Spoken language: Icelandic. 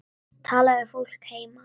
Að tala við fólkið heima.